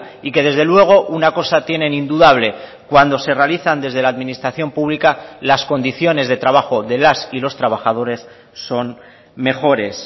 y que desde luego una cosa tienen indudable cuando se realizan desde la administración pública las condiciones de trabajo de las y los trabajadores son mejores